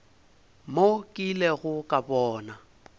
mo ke ilego ka bona